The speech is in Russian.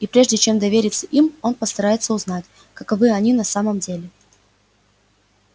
и прежде чем довериться им он постарается узнать каковы они на самом деле